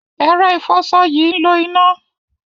Ẹ̀rọ ìfọṣọ yìí ń lo iná.